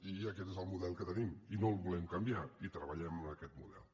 i aquest és el model que tenim i no el volem canviar i treballem amb aquest model